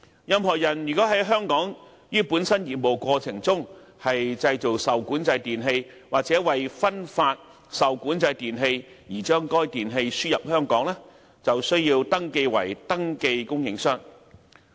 任何人在香港於本身業務過程中製造受管制電器或為分發受管制電器而將該電器輸入香港，便須登記為登記供應商。